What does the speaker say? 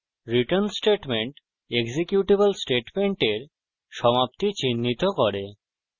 return statement executable স্টেটমেন্টের সমাপ্তি চিনহিত করে